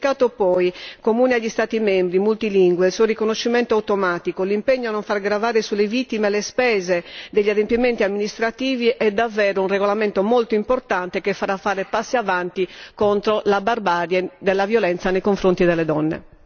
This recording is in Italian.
Un certificato poi comune agli Stati membri, multilingue, sul riconoscimento automatico, l'impegno a non far gravare sulle vittime le spese degli adempimenti amministrativi è davvero un regolamento molto importante che farà fare passi avanti contro la barbarie della violenza nei confronti delle donne.